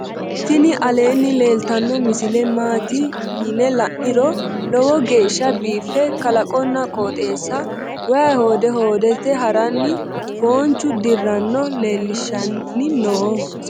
tini aleenni leeltannno misile maati yine la'niro lowo geeshsa biife kalaqonna qooxeessa wayi hode hoodete haranni foonchu dirranna leellishshanni noo